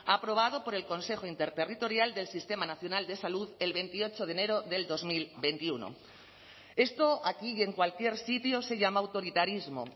aprobado por el consejo interterritorial del sistema nacional de salud el veintiocho de enero del dos mil veintiuno esto aquí y en cualquier sitio se llama autoritarismo